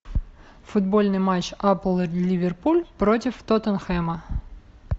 футбольный матч апл ливерпуль против тоттенхэма